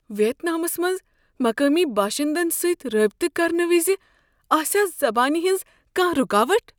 ویتنامس منٛز مقٲمی باشندن سۭتۍ رٲبطہٕ کرنہٕ وِزِ آسیا زبانہِ ہٕنٛز کانٛہہ رُکاوٹھ؟